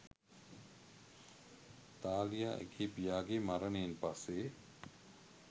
Thalia ඇගේ පියාගේ මරණයෙන් පස්සේ